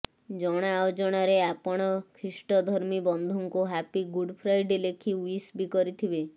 ଜଣାଅଜଣାରେ ଆପଣ ଖ୍ରୀଷ୍ଟଧର୍ମୀ ବନ୍ଧୁଙ୍କୁ ହାପି ଗୁଡ୍ ଫ୍ରାଇଡେ ଲେଖି ୱିସ୍ ବି କରିଥିବେ